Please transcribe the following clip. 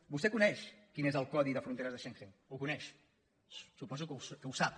vostè coneix quin és el codi de fronteres de schengen ho coneix suposo que el sap